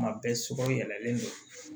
Kuma bɛɛ sogo yɛlɛlen don